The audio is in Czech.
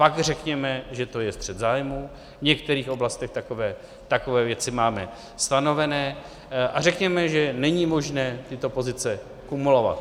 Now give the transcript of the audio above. Pak řekněme, že to je střet zájmů, v některých oblastech takové věci máme stanovené, a řekněme, že není možné tyto pozice kumulovat.